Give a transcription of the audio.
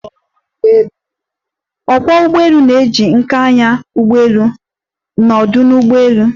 Ókwọ́ ụgbọelu na-eji nká anya ụgbọelu n'ọdu ụgbọelu.